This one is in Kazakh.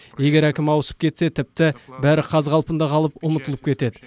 егер әкім ауысып кетсе тіпті бәрі қаз қалпында қалып ұмытылып кетеді